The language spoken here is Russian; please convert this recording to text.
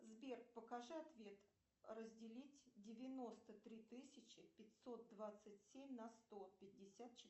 сбер покажи ответ разделить девяносто три тысячи пятьсот двадцать семь на сто пятьдесят четыре